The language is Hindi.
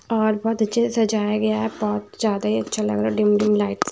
और बहुत अच्छे से सजाया गया है बहुत ज्यादा ही अच्छा लग रहा डिम डिम लाइट्स --